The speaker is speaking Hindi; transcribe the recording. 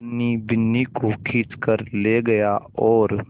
धनी बिन्नी को खींच कर ले गया और